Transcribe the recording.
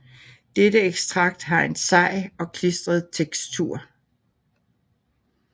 Dette ekstrakt har en sej og klistret tekstur